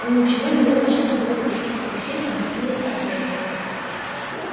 он ничего не ел почти двое суток и совсем обессилел от голода